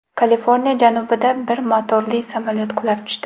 Kaliforniya janubida bir motorli samolyot qulab tushdi.